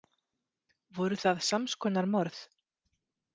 Voru það sams konar morð?